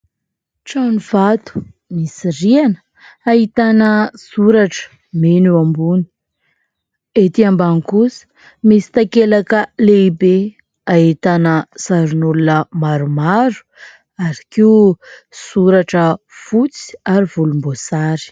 Tranovato, misy rihana, ahitana soratra mena eo ambony, ety ambany kosa misy takelaka lehibe ahitana sarin'olona maromaro ary koa soratra fotsy ary volomboasary.